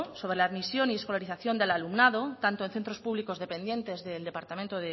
sobre la admisión y la escolarización del alumnado tanto en centros públicos dependientes del departamento